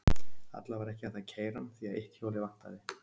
Alla vega var ekki hægt að keyra hann, því að eitt hjólið vantaði.